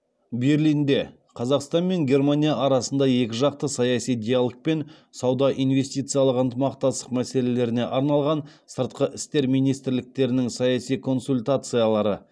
берлинде қазақстан мен германия арасында екіжақты саяси диалг пен сауда инвестициялық ынтымақтастық мәселелеріне арналған сыртқы істер министрліктерінің саяси консультациялары